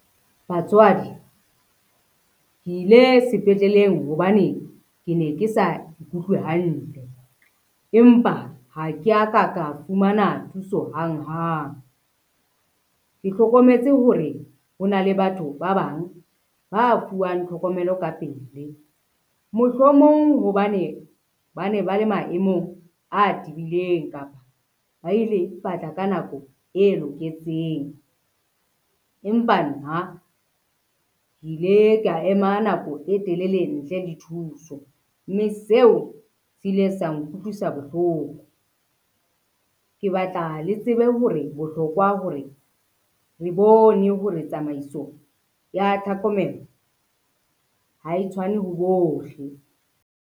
Batswadi, ke ile sepetleleng hobane ke ne ke sa ikutlwe hantle, empa ha ke a ka ka fumana thuso hang hang. Ke hlokometse hore ho na le batho ba bang ba fuwang tlhokomelo ka pele. Mohlomong hobane ba ne ba le maemong a tibileng kapa ba ile ba tla ka nako e loketseng, empa nna ke ile ka ema nako e telele ntle le thuso, mme seo se ile sa nkutlwisa bohloko. Ke batla le tsebe hore bohlokwa hore re bone hore tsamaiso ya tlhokomelo ha e tshwane ho bohle.